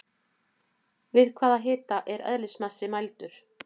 Við hvaða hita er eðlismassi mældur?